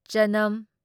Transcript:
ꯆꯅꯝ